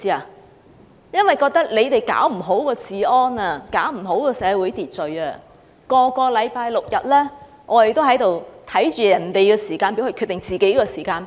他們認為政府管不好治安和社會秩序，每個星期六及星期日，我們要看着別人的"時間表"來決定自己的時間表。